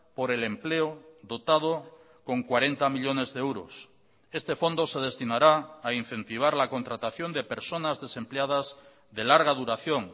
por el empleo dotado con cuarenta millónes de euros este fondo se destinará a incentivar la contratación de personas desempleadas de larga duración